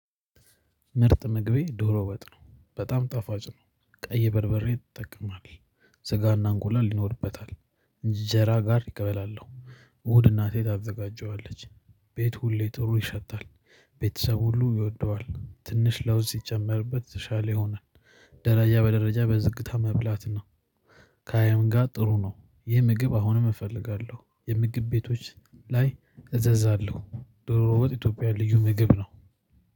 ምርጥ ምግቤ ዶሮ ወጥ ነው በጣም ጣፋጭ ነው። ቀይ በርበሬን ትጠቀማለች ስጋና አንጎላ ይኖርበታል። እንጀራ ጋር ይቀበላል። እናቴ ታዘጋጀዋለች። ቤቱ ሁሌ ጥሩ ይሸታል። ቤተሰብ ሁሉ ይወደዋል ትንሽ ለውዝ ሲጨመርበት ተሻለ ይሆናል። ደረጃ በደረጃ በዝግታ መብላት ነው። ከአይብ ጋር ጥሩ ነው። ይህ ምግብ አሁንም እፈልጋለሁ የምግብ ቤቶች ላይ አዝዛለሁ። ዶሮ ወጥ ኢትዮጵያ ልዩ ምግብ ነው